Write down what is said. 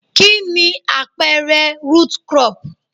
Kí ni àpẹẹrẹ root crop?